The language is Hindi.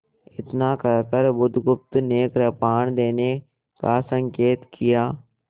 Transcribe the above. इतना कहकर बुधगुप्त ने कृपाण देने का संकेत किया